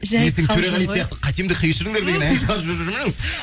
ертең төреғали сияқты қатемді кешіріңдер деген ән шығарып жүрмеңіз